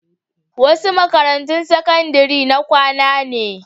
Wasu makarantun sakandaren na kwana ne.